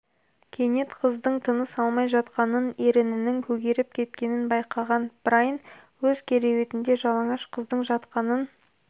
кенет қыздың тыныс алмай жатқанын ернінің көгеріп кеткенін байқаған брайн өз кереуетінде жалаңаш қыздың жатқанын